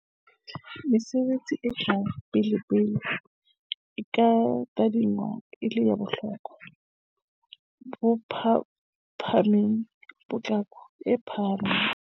Mesebetsi e tlang pelepele e ka tadingwa e le ya bohlokwa bo phahameng-potlako e phahameng.